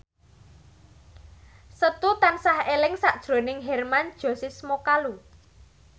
Setu tansah eling sakjroning Hermann Josis Mokalu